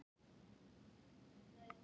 Ekki tilfinnanlega sagði hann.